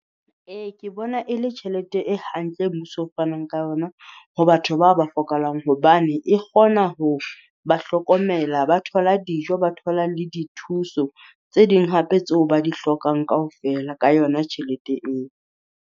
Ee ke bona e le tjhelete e hantle mmuso o fanang ka yona ho batho bao ba hlokahalang hobane, e kgona ho ba hlokomela ba thola dijo, ba thola le dithuso tse ding hape tseo ba di hlokang kaofela ka yona tjhelete eo.